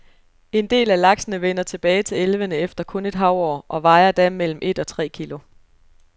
En del af laksene vender tilbage til elvene efter kun et hav-år og vejer da mellem et og tre kilo.